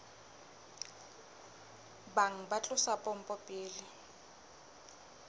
bang ba tlosa pompo pele